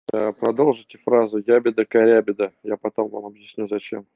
ээ продолжите фразу ябеда-корябеда я потом вам объясню зачем